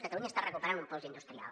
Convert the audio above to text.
catalunya està recuperant un pols industrial